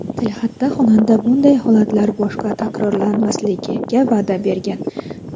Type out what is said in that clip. Tilxatda xonanda bunday holatlar boshqa takrorlanmasligiga va’da bergan.